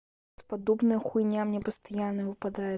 подобная хуйня мне постоянно выпадает